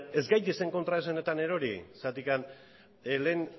ez gaitezen kontraesanetan erori zergatik lehen